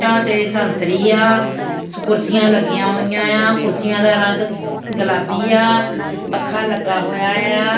ਇੱਟਾਂ ਤੇ ਸੰਤਰੀ ਆ ਕੁਰਸੀਆਂ ਲੱਗੀਆਂ ਹੋਈਆਂ ਆ ਕੁਰਸੀਆਂ ਦਾ ਰੰਗ ਗੁਲਾਬੀ ਆ ਪੱਖਾ ਲੱਗਾ ਹੋਇਆ ਆ।